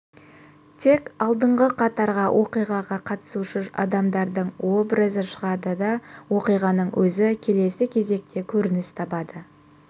тек алдыңғы қатарға оқиғаға қатысушы адамдардың образы шығады да оқиғаның өзі келесі кезекте көрініс табады